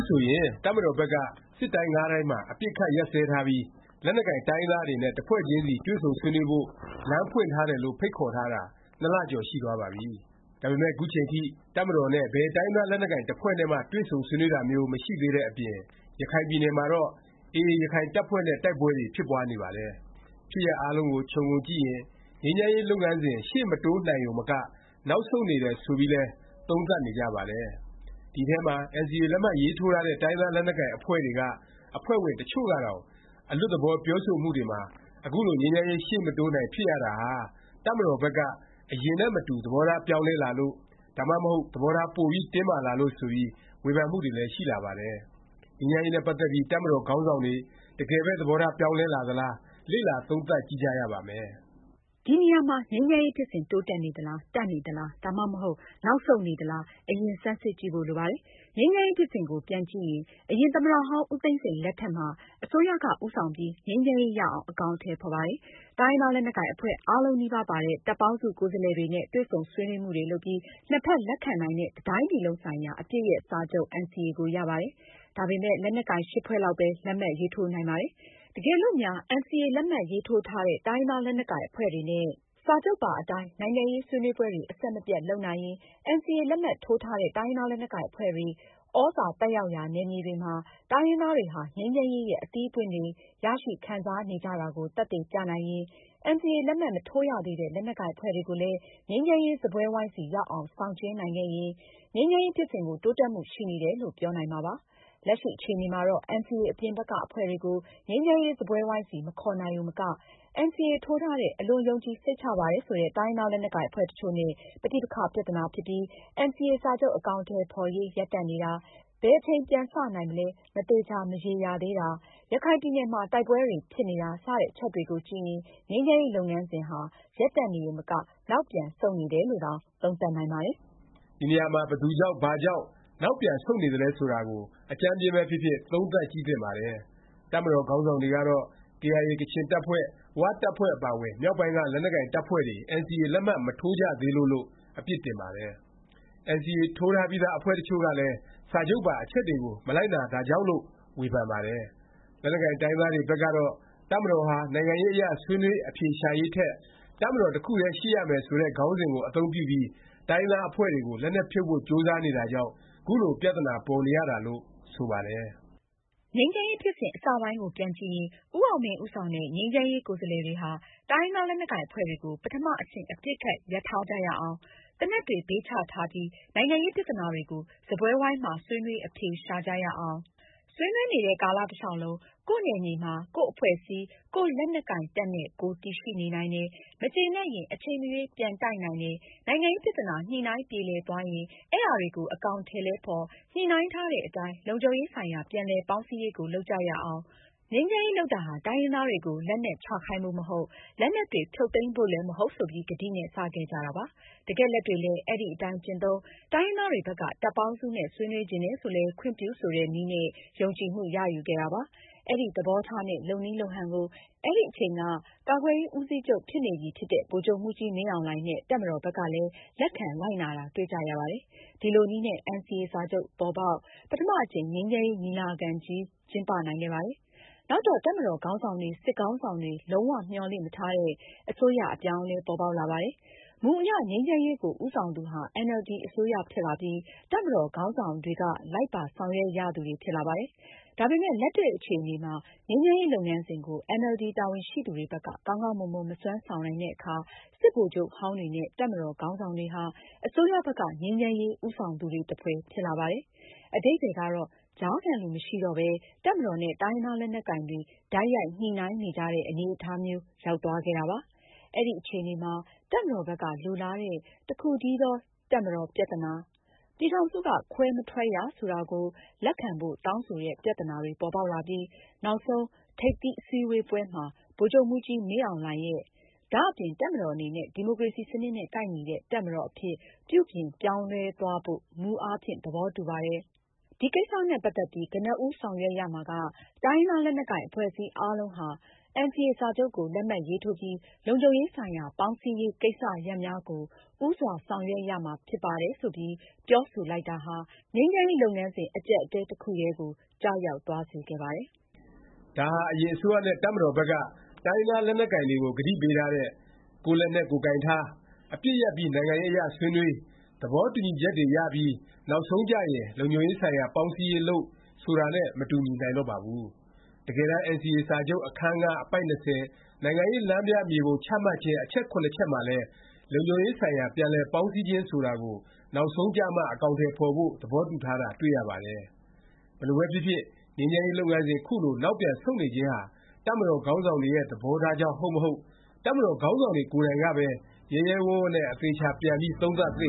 ဆိုရင် တပ်မတော်ဘက်က စစ်တိုင်း ၅ တိုင်းမှာ အပစ်အခတ် ရပ်စဲထားပြီး လက်နက်ကိုင် တိုင်းရင်းသားတွေနဲ့ တစ်ဖွဲ့ချင်းစီ တွေ့ဆုံဆွေးနွေးဖို့ လမ်းဖွင့်ထားတယ်လို့ ဖိတ်ခေါ်ထားတာ ၂ လကျော် ရှိသွားပါပြီ။ ဒါပေမယ့် ခုချိန်ထိ တပ်မတော်နဲ့ ဘယ် တိုင်းရင်းသား လက်နက်ကိုင် တစ်ဖွဲ့နဲ့မှ တွေ့ဆုံ ဆွေးနွေးတာမျိုး မရှိသေးတဲ့အပြင် ရခိုင်ပြည်နယ်မှာတော့ AA ရခိုင်တပ်ဖွဲ့နဲ့ တိုက်ပွဲတွေ ဖြစ်ပွားနေပါတယ်။ ဖြစ်ရပ် အားလုံးကို ခြုံငုံကြည့်ရင် ငြိမ်းချမ်းရေး လုပ်ငန်းစဉ် ရှေ့မတိုးနိုင်ရုံမက နောက်ဆုတ်နေတယ် ဆိုပြီးလည်း သုံးသပ်နေကြပါတယ်။ ဒီထဲမှာ NCA လက်မှတ်ရေးထိုးထားတဲ့ တိုင်းရင်းသား လက်နက်ကိုင် အဖွဲ့တွေက အဖွဲ့ဝင် တစ်ချို့ကတောင် အလွတ်သဘော ပြောဆိုမှုတွေမှာ အခုလို ငြိမ်းချမ်းရေး ရှေ့မတိုးနိုင် ဖြစ်ရတာဟာ တပ်မတော်ဘက်က အရင်နဲ့မတူ သဘောထား ပြောင်းလဲလာလို့၊ ဒါမှမဟုတ် သဘောထား ပိုပြီး တင်းမာလာလို့ ဆိုပြီး ဝေဖန်မှုတွေလည်း ရှိလာပါတယ်။ ငြိမ်းချမ်းရေးနဲ့ ပတ်သက်ပြီး တပ်မတော်ခေါင်းဆောင်တွေ တကယ်ပဲ သဘောထား ပြောင်းလဲလာသလား၊ လေ့လာသုံးသပ်ကြည့်ကြပါမယ်။ ဒီနေရာမှာ ငြိမ်းချမ်းရေး ဖြစ်စဉ် တိုးတက်နေသလား၊ တန့်နေသလား၊ ဒါမှမဟုတ် နောက်ဆုတ်နေသလား အရင် ဆန်းစစ်ကြည့်ဖို့ လိုပါတယ်။ ငြိမ်းချမ်းရေး ဖြစ်စဉ်ကို ပြန်ကြည့်ရင် အရင် သမ္မတဟောင်း ဦးသိန်းစိန် လက်ထက်မှာ အစိုးရက ဦးဆောင်ပြီး ငြိမ်းချမ်းရေး ရအောင် အကောင်အထည် ဖော်ပါတယ်။ တိုင်းရင်းသား လက်နက်ကိုင် အဖွဲ့အားလုံးနီးပါးပါတဲ့ တပ်ပေါင်းစု ကိုယ်စားလှယ်တွေနဲ့ တွေ့ဆုံဆွေးနွေးမှုတွေ လုပ်ပြီး နှစ်ဖက် လက်ခံနိုင်တဲ့ တစ်တိုင်းပြည်လုံးဆိုင်ရာ အပစ်ရပ် စာချုပ် NCA ကို ရပါတယ်။ ဒါပေမယ့် လက်နက်ကိုင် (၈) ဖွဲ့လောက်ပဲ လက်မှတ်ရေးထိုးနိုင်ပါတယ်။ တကယ်လို့များ NCA လက်မှတ်ထိုးထားတဲ့ တိုင်းရင်းသား လက်နက်ကိုင် အဖွဲ့တွေနဲ့ စာချုပ်ပါ အတိုင်း နိုင်ငံရေး ဆွေးနွေးပွဲတွေ အဆက်မပြတ် လုပ်နိုင်ရင်၊ NCA လက်မှတ်ထိုးထားတဲ့ တိုင်းရင်းသားလက်နက်ကိုင် အဖွဲ့တွေ သြဇာ သက်ရောက်ရာ နယ်မြေတွေမှာ တိုင်းရင်းသားတွေဟာ ငြိမ်းချမ်းရေးရဲ့ အသီးအပွင့်တွေကို ရရှိခံစားနေကြတာကို သက်သေပြနိုင်ရင်၊ NCA လက်မှတ် မထိုးရသေးတဲ့ လက်နက်ကိုင် အဖွဲ့တွေကိုလည်း ငြိမ်းချမ်းရေး စားပွဲဝိုင်းဆီ ရောက်အောင် ဆောင်ကျဉ်းနိုင်ခဲ့ရင် ငြိမ်းချမ်းရေး ဖြစ်စဉ် တိုးတက်မှု ရှိနေတယ်လို့ ပြောနိုင်မှာပါ။ လက်ရှိ အခြေအနေမှာတော့ NCA အပြင်ဘက်က အဖွဲ့တွေကို ငြိမ်းချမ်းရေး စားပွဲဝိုင်းဆီ မခေါ်နိုင်ရုံမက၊ NCA ထိုးထားတဲ့ အလွန်ယုံကြည် စိတ်ချပါတယ် ဆိုတဲ့ တိုင်းရင်းသား လက်နက်ကိုင် အဖွဲ့တစ်ချို့နဲ့ ပဋိပက္ခ ပြသနာ ဖြစ်ပြီး NCA စာချုပ် အကောင်အထည် ဖော်ရေး ရပ်တန့်နေတာ၊ ဘယ်အချိန် ပြန်စ နိုင်မလဲ မသေခြာ မရေရာသေးတာ၊ ရခိုင်ပြည်နယ်မှာ တိုက်ပွဲတွေ ဖြစ်နေတာ စတဲ့ အချက်တွေကို ကြည့်ရင် ငြိမ်းချမ်းရေး လုပ်ငန်းစဉ်ဟာ ရပ်တန့်နေရုံမက နောက်ပြန် ဆုတ်နေတယ်လို့တောင် သုံးသပ်နိုင်ပါတယ်။ ဒီနေရာမှာ ဘယ်သူကြောင့် ဘာကြောင့် နောက်ပြန်ဆုတ်နေသလဲ ဆိုတာကို အကြမ်းဖျဉ်းပဲဖြစ်ဖြစ် သုံးသပ်ကြည့်သင့်ပါတယ်။ တပ်မတော်ခေါင်းဆောင်တွေကတော့ KIA ကချင်တပ်ဖွဲ့၊ ၀ တပ်ဖွဲ့အပါအဝင် မြောက်ပိုင်းက လက်နက်ကိုင် တပ်ဖွဲ့တွေ NCA လက်မှတ် မထိုးကြသေးလို့ လို့ အပြစ်တင်ပါတယ်။ NCA ထိုးထားပြီးသား အဖွဲ့တစ်ချို့ကလည်း စာချုပ်ပါ အချက်တွေကို မလိုက်နာတာကြောင့် လို့ ဝေဖန်ပါတယ်။ လက်နက်ကိုင် တိုင်းရင်းသားတွေ ဘက်ကတော့ တပ်မတော်ဟာ နိုင်ငံရေးအရ ဆွေးနွေး အဖြေရှာရေးထက် တပ်မတော် တစ်ခုတည်း ရှိရမယ် ဆိုတဲ့ ခေါင်းစဉ်ကို အသုံးပြုပြီး တိုင်းရင်းသား အဖွဲ့တွေကို လက်နက်ဖြုတ်ဖို့ ကြိုးစားနေတာကြောင့် ခုလို ပြသနာပေါ်နေရတာလို့ ဆိုပါတယ်။ ငြိမ်းချမ်းရေး ဖြစ်စဉ် အစပိုင်းကို ပြန်ကြည့်ရင် ဦးအောင်မင်း ဦးဆောင်တဲ့ ငြိမ်းချမ်းရေး ကိုယ်စားလှယ်တွေဟာ တိုင်းရင်းသား လက်နက်ကိုင် အဖွဲ့တွေကို ပထမ အဆင့် အပစ်အခတ် ရပ်ထားကြရအောင်၊ သေနတ်တွေ ဘေးချထားပြီး နိုင်ငံရေးပြသနာတွေကို စားပွဲဝိုင်းမှာ ဆွေးနွေး အဖြေရှာကြရအောင်၊ ဆွေးနွေးနေတဲ့ ကာလ တလျောက်လုံး ကိုယ့်နယ်မြေမှာ ကိုယ့်အဖွဲ့အစည်း၊ ကိုယ့် လက်နက်ကိုင်တပ်နဲ့ ကိုယ် တည်ရှိနေနိုင်တယ်၊ မကျေနပ်ရင် အချိန်မရွေး ပြန်တိုက်နိုင်တယ်၊ နိုင်ငံရေးပြသနာ ညှိနှိုင်းပြေလည်သွားရင် အဲဒါတွေကို အကောင်အထည်လည်းဖေါ်၊ ညှိနှိုင်းထားတဲ့ အတိုင်း လုံခြုံရေးဆိုင်ရာ ပြန်လည် ပေါင်းစည်းရေးကို လုပ်ကြရအောင်၊ ငြိမ်းချမ်းရေး လုပ်တာဟာ တိုင်းရင်းသားတွေကို လက်နက်ချခိုင်းဖို့ မဟုတ်၊ လက်နက်တွေ ဖြုတ်သိမ်းဖို့လည်း မဟုတ် ဆိုပြီး ကတိနဲ့ စ ခဲ့ကြတာပါ။ တကယ်လက်တွေ့လည်း အဲဒီအတိုင်း ကျင့်သုံး၊ တိုင်းရင်းသားတွေဘက်က တပ်ပေါင်းစုနဲ့ ဆွေးနွေးချင်တယ် ဆိုလည်း ခွင့်ပြု ဆိုတဲ့ နည်းနဲ့ ယုံကြည်မှု ရယူခဲ့တာပါ။ အဲဒီ သဘောထားနဲ့ လုပ်နည်းလုပ်ဟန်ကို အဲဒီအချိန်က ကာကွယ်ရေး ဦးစီးချုပ် ဖြစ်နေပြီဖြစ်တဲ့ ဗိုလ်ချုပ်မှူးကြီး မင်းအောင်လှိုင်နဲ့ တပ်မတော် ဘက်ကလည်း လက်ခံ လိုက်နာတာ တွေ့ကြရပါတယ်။ ဒီလိုနည်းနဲ့ NCA စာချုပ်ပေါ်ပေါက်၊ ပထမအကြိမ် ငြိမ်းချမ်းရေး ညီလာခံကြီး ကျင်းပနိုင်ခဲ့ပါတယ်။ နောက်တော့ တပ်မတော် ခေါင်းဆောင်တွေ၊ စစ်ခေါင်းဆောင်တွေ လုံး၀ မျှော်လင့်မထားတဲ့ အစိုးရအပြောင်းအလဲ ပေါ်ပေါက်လာပါတယ်။ မူအရ ငြိမ်းချမ်းရေးကို ဦးဆောင်သူဟာ NLD အစိုးရ ဖြစ်လာပြီး တပ်မတော်ခေါင်းဆောင်တွေက လိုက်ပါ ဆောင်ရွက်ရသူတွေ ဖြစ်လာပါတယ်။ ဒါပေမယ့် လက်တွေ့အခြေအနေမှာ ငြိမ်းချမ်းရေး လုပ်ငန်းစဉ်ကို အင်န်အယ်လ်ဒီ တာဝန်ရှိသူတွေဘက်က ကောင်းကောင်း မစွမ်းဆောင်နိုင်တဲ့အခါ စစ်ဗိုလ်ချုပ်ဟောင်းတွေနဲ့ တပ်မတော်ခေါင်းဆောင်တွေဟာ အစိုးရဘက်က ငြိမ်းချမ်းရေး ဦးဆောင်သူတွေ သဖွယ် ဖြစ်လာပါတယ်။ အဓိပ္ပါယ်ကတော့ ကြားခံလူ မရှိတော့ပဲ တပ်မတော်နဲ့ တိုင်းရင်းသားလက်နက်ကိုင်တွေ တိုက်ရိုက် ညှိနှိုင်းနေကြတဲ့ အနေအထားမျိုး ရောက်သွားခဲ့တာပါ။ အဲဒီအခြေအနေမှာ တပ်မတော်ဘက်က လိုလားတဲ့ တစ်ခုတည်းသော တပ်မတော် ပြသနာ၊ ပြည်ထောင်စုက ခွဲမထွက်ရ ဆိုတာကို လက်ခံဖို့ တောင်းဆိုတဲ့ ပြသနာတွေ ပေါ်ပေါက်လာပြီး နောက်ဆုံး ထိပ်သီးအစည်းဝေးပွဲမှာ ဗိုလ်ချုပ်မှူးကြီး မင်းအောင်လှိုင်ရဲ့ “ဒါ့အပြင် တပ်မတော်အနေနဲ့ ဒီမိုကရေစီ စနစ်နဲ့ကိုက်ညီတဲ့ တပ်မတော်အဖြစ် ပြုပြင်ပြောင်းလဲသွားဖို့ မူအားဖြင့် သဘောတူပါတယ်။ ဒီကိစ္စနဲ့ပတ်သက်ပြီး ကနဦးဆောင်ရွက်ရမှာက တိုင်းရင်းသား လက်နက်ကိုင် အဖွဲ့အစည်း အားလုံး ဟာ NCA စာချုပ်ကို လက်မှတ် ရေးထိုးပြီး လုံခြုံရေးဆိုင်ရာ ပေါင်းစည်းရေးကိစ္စရပ်များကို ဦးစွာ ဆောင်ရွက်ရမှာ ဖြစ်ပါတယ်။” ဆိုပြီး ပြောဆိုလိုက်တာဟာ ငြိမ်းချမ်းရေး လုပ်ငန်းစဉ် အကြပ်အတည်း တစ်ခုတည်းကို ကျရောက်သွားစေခဲ့ပါတယ်။ ဒါဟာ အရင် အစိုးရနဲ့ တပ်မတော်ဘက်က တိုင်းရင်းသားလက်နက်ကိုင်တွေကို ကတိပေးထားတဲ့ “ကိုယ့်လက်နက် ကိုယ်ကိုင်ထား၊ အပစ်ရပ်ပြီး နိုင်ငံရေးအရ ဆွေးနွေး၊ သဘောတူညီချက်တွေရပြီး နောက်ဆုံးကျရင် လုံခြုံရေးဆိုင်ရာ ပေါင်းစည်းရေး လုပ်” ဆိုတာနဲ့ မတူနိုင်တော့ပါဘူး။ တကယ်တန်း NCA စာချုပ် အခန်း ၅၊ အပိုဒ် ၂၀ နိုင်ငံရေးလမ်းပြမြေပုံ ချမှတ်ခြင်း အချက် (၇) ချက်မှာလည်း လုံခြုံရေးဆိုင်ရာ ပြန်လည်ပေါင်းစည်းခြင်း ဆိုတာကို နောက်ဆုံးကျမှ အကောင်အထည် ဖော်ဖို့ သဘောတူထားတာ တွေ့ရပါတယ်။ ဘယ်လိုပဲဖြစ်ဖြစ် ငြိမ်းချမ်းရေး လုပ်ငန်းစဉ် ခုလို နောက်ပြန်ဆုတ်နေခြင်းဟာ တပ်မတော်ခေါင်းဆောင်တွေရဲ့ သဘောထားကြောင့် ဟုတ်မဟုတ်၊ တပ်မတော် ခေါင်းဆောင်တွေ ကိုယ်တိုင်ကပဲ ရဲရဲဝံ့ဝံ့နဲ့ အသေအခြာ ပြန်ပြီး သုံးသပ် သင့